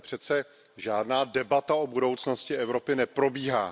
Tady přece žádná debata o budoucnosti Evropy neprobíhá.